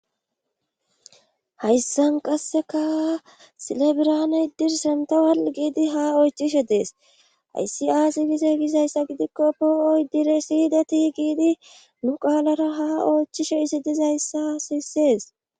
Hayssan qasseka sile birhaane iddir semttewal giidi ha oychishe dees hayssi aaze gizayssa gidikko poo7o iddire si7ideti giidi nu qaalara haa oychishe izi dizayssa sissees.